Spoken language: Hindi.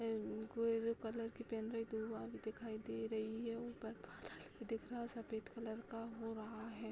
ऐ कोई दिखाई दे रही है। ऊपर बादल भी दिख रहा सफेद कलर का हो रहा है।